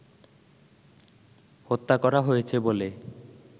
হত্যা করা হয়েছে বলে